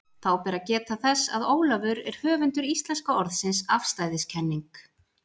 Þá ber að geta þess, að Ólafur er höfundur íslenska orðsins afstæðiskenning.